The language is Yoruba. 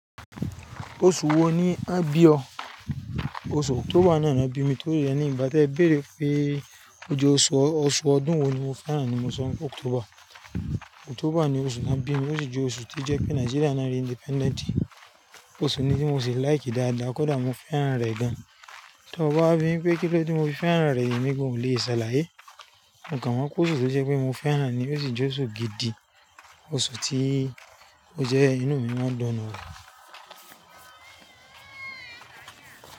Oṣù wo ni a bí ọ? Oṣù October ni ana bí mi, torí rẹ̀ ní ìgbà tí ẹ béèrè pé ojú oṣù ọdún wo ni mo fẹ́ràn ni mo sọ October. October ni oṣù tí wón bí mi, ó sì jẹ́ oṣù tí ó jẹ́ pé Nigeria ni á rí ominira. Oṣù ni tí mo ṣe fẹran dáadáa, kódà mo fẹ́ràn rẹ̀ gan. Tí ó bá wí pé kí lódé tí mo fi fẹ́ràn rẹ̀ yìí ni mi ò lè sáláyé. Ǹkan wá kú oṣù tí ó jẹ́ pé mo fẹ́ràn ni ó sì jẹ́ oṣù gidi, oṣù tí ó jẹ́ inú mi máa ń dún nù rẹ̀